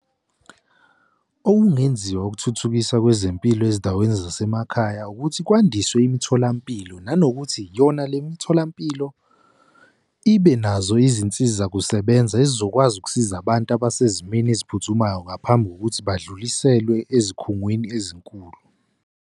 Okungenziwa ukuthuthukisa kwezempilo ezindaweni zasemakhaya ukuthi kwandiswe imitholampilo nanokuthi yona le mitholampilo ibe nazo izinsizakusebenza ezizokwazi ukusiza abantu abasezimeni eziphuthumayo ngaphambi kokuthi badlulisele ezikhungweni ezinkulu.